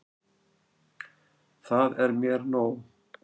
Það er mér nóg.